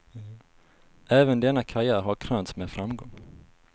Även denna karriär har krönts med framgång.